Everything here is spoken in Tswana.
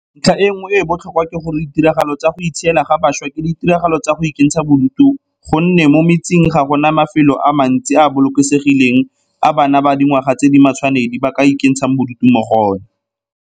Ntlha e nngwe e e botlhokwa ke gore ditiragalo tsa go itshiela ga bašwa ke ditiragalo tsa go ikentsha bodutu go nne mo metseng ga go na mafelo a mantsi a a bolokesegileng a bana ba dingwaga tse di matshwanedi ba ka ikentshang bodutu mo go ona.